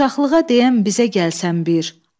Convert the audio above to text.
Uşaqlığa deyən bizə gəlsən bir.